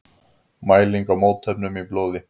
Mæling á mótefnum í blóði.